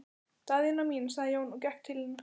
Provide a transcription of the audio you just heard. Daðína mín, sagði Jón og gekk til hennar.